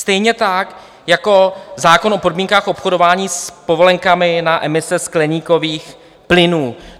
Stejně tak jako zákon o podmínkách obchodování s povolenkami na emise skleníkových plynů.